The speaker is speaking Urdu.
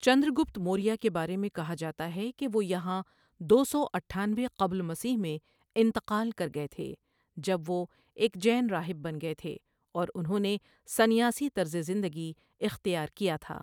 چندرگپت موریہ کے بارے میں کہا جاتا ہے کہ وہ یہاں دو سو اٹھانوے قبل مسیح میں انتقال کر گئے تھے جب وہ ایک جین راہب بن گئے تھے اور انہوں نے سنیاسی طرز زندگی اختیار کیا تھا۔